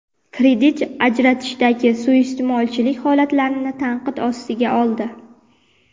kredit ajratishdagi suiiste’molchilik holatlarini tanqid ostiga oldi.